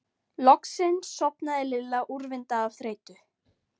Loksins sofnaði Lilla úrvinda af þreytu.